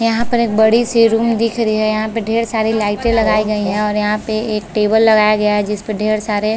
यहाँ पर एक बड़ी -सी रूम दिख रही है यहाँ पे ढेर सारी लाइटे लगाई गई है और यहाँ पे एक टेबल लगाया गया है जिसपे ढेर सारे --